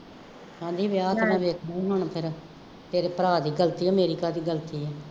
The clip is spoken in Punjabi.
ਕਹਿੰਦੀ ਵਿਆਹ ਆਪਣਾ ਵੇਖਣਾ ਹੀ ਹੁਣ ਫੇਰ, ਮੇਰੇ ਭਰਾ ਦੀ ਗਲਤੀ ਹੈ, ਮੇਰੀ ਕਾਹਦੀ ਗਲਤੀ ਹੈ